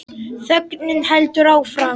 Þögnin heldur áfram.